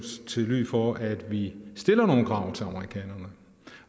til lyd for at vi stiller nogle krav til amerikanerne